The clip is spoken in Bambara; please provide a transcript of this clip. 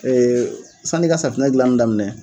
Ee sani i ka safunɛ dilanni daminɛ.